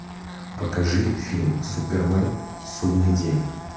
покажи фильм супермен судный день